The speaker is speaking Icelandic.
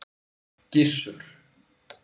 Gissur